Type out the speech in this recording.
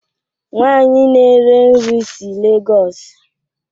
Nwanyi na-ere nri si Lagos